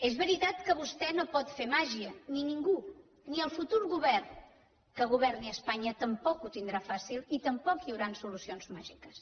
és veritat que vostè no pot fer màgia ni ningú ni el futur govern que governi a espanya tampoc ho tindrà fàcil i tampoc hi hauran solucions màgiques